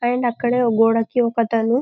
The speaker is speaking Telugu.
అండ్ అక్కడో ఒక గోడకి ఒకతను